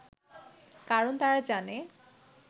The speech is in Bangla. কারণ তারা জানে